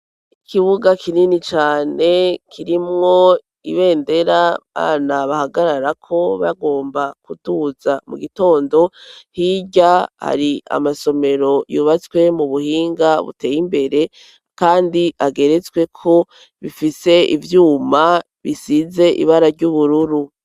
Ikibuga kinini cane kirimwo ibendera bana bahagararako bagomba kuduza mu gitondo hirya hari amasomero yubatswe mu buhinga buteye imbere, kandi ageretsweko bifise ivyuma bisize ibara ry'uburua.